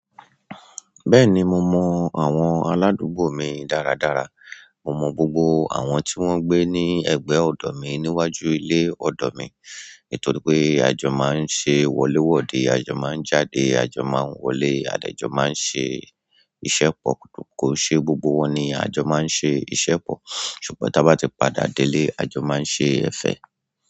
Bẹ́ẹ̀ni mo mọ àwọn aládùúgbò mi dáradára. Mo mọ gbogbo àwọn tí wọ́n gbé ní ẹ̀gbẹ́ ọ̀dọ̀ mi níwájú ilé ọ̀dọ̀ mi nítorí pé àjọ máa ń ṣe wọléwọ́de, àjọ máa ń jáde, àjọ máa ń wọlé, àdejọ́ máa ń ṣe iṣẹ́ pọ̀. Kò ṣe gbogbo wọn ni àjọ máa ń ṣe iṣẹ́ pọ̀ ṣùgbọ́n ta bá ti padà délé àjọ máa ń ṣe ẹ̀fẹ̀.